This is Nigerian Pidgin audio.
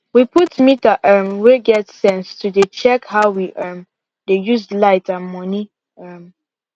we put meter um way get sense to dey check how we um dey use light and money um